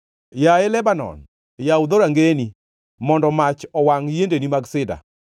Yaye Lebanon, yaw dhorangeyeni, mondo mach owangʼ yiendeni mag sida!